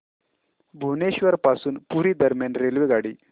भुवनेश्वर पासून पुरी दरम्यान रेल्वेगाडी